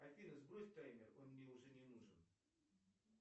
афина сбрось таймер он мне уже не нужен